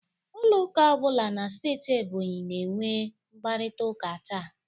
Ụlọ ụka ọ bụla na steeti Ebonyi na-enwe mkparịtaụka taa.